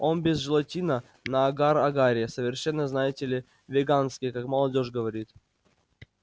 он без желатина на агар-агаре совершенно знаете ли веганский как молодёжь говорит